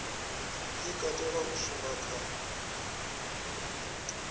i katelaho u shuma kha